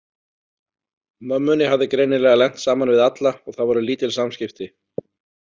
Mömmunni hafði greinilega lent saman við alla og það voru lítil samskipti.